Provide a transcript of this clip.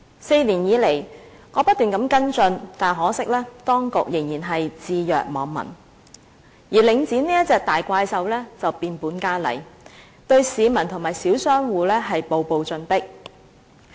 在過去4年，我不斷跟進，但可惜當局仍然置若罔聞，而領展這隻大怪獸卻變本加厲，對市民和小商戶步步進迫。